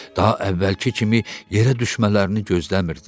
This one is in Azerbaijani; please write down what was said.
Daha əvvəlki kimi yerə düşmələrini gözləmirdi.